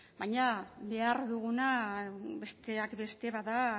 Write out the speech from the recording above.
baina behar duguna besteak beste bada